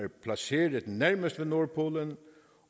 placeret nærmest ved nordpolen